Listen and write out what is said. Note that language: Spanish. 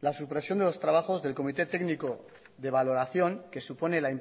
la supresión de los trabajos del comité técnico de valoración que supone la